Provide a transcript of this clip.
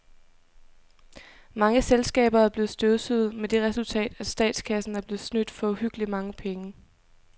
Mange selskaber er blevet støvsuget med det resultat, at statskassen er blevet snydt for uhyggeligt mange penge.